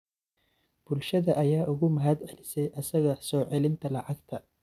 Bulshada ayaa uga mahadcelisay asaga soo celinta lacagta.